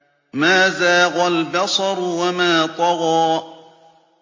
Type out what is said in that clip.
مَا زَاغَ الْبَصَرُ وَمَا طَغَىٰ